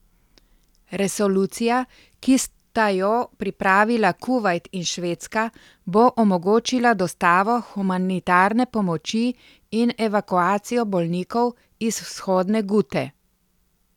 Resolucija, ki sta jo pripravila Kuvajt in Švedska, bi omogočila dostavo humanitarne pomoči in evakuacijo bolnikov iz Vzhodne Gute.